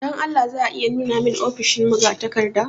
Don Allah za a iya nuna mani ofishin magatakarda?